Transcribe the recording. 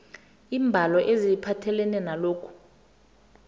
iimbalo eziphathelene nalokhu